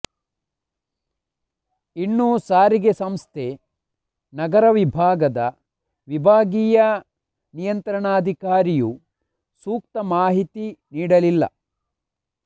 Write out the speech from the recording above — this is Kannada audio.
ಇನ್ನು ಸಾರಿಗೆ ಸಂಸ್ಥೆ ನಗರ ವಿಭಾಗದ ವಿಭಾಗೀಯ ನಿಯಂತ್ರಣಾಧಿಕಾರಿಯೂ ಸೂಕ್ತ ಮಾಹಿತಿ ನೀಡಲಿಲ್ಲ